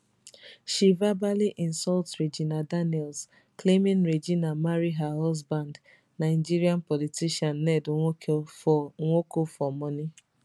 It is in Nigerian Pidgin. she verbally insult regina daniels claiming regina marry her husband nigeria politician ned nwoko for nwoko for money